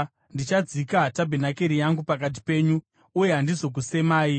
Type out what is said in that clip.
Ndichadzika tabhenakeri yangu pakati penyu uye handizokusemai.